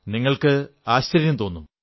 നിങ്ങൾക്കും ആശ്ചര്യം തോന്നും